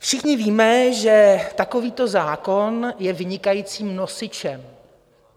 Všichni víme, že takovýto zákon je vynikajícím nosičem.